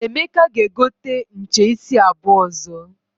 Emeka ga-egote nche isi abuo ozo.